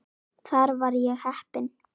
Þar var ég heppinn